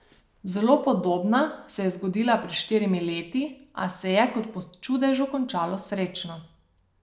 Zelo podobna se je zgodila pred štirimi leti, a se je, kot po čudežu, končala srečno.